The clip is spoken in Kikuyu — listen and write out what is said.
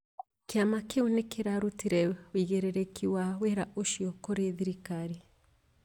Kĩama kĩu nĩ kĩarutire ũigĩrĩrĩki wa wĩra ũcio kũrĩ thirikari